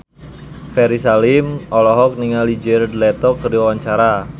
Ferry Salim olohok ningali Jared Leto keur diwawancara